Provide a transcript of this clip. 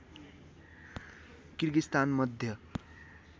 Kyrgyzstan Madhya